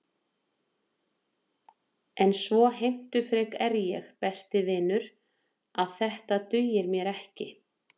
En svo heimtufrek er ég, besti vinur, að þetta dugir mér ekki.